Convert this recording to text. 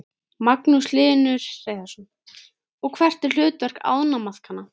Magnús Hlynur Hreiðarsson: Og hvert er hlutverk ánamaðkanna?